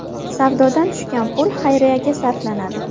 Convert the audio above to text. Savdodan tushgan pul xayriyaga sarflanadi.